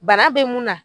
Bana bɛ mun na